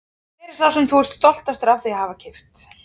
Hver er sá sem þú ert stoltastur af því að hafa keypt?